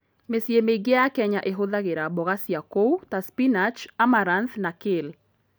Mĩciĩ mĩingĩ ya Kenya ĩhũthagĩra mboga cia kũu ta spinach, amaranth, na kale.